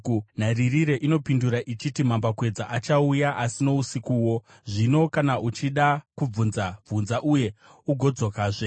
Nharirire inopindura ichiti, “Mambakwedza achauya, asi nousikuwo. Zvino kana uchida kubvunza, bvunza; uye ugodzokazve.”